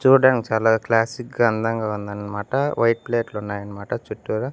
చూడ్డానికి చాలా క్లాసిక్ గా అందంగా ఉందన్నమాట వైట్ ప్లేట్లు ఉన్నాయనమాట చుట్టూరు--